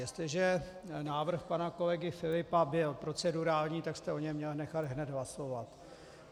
Jestliže návrh pana kolegy Filipa byl procedurální, tak jste o něm měl nechat hned hlasovat.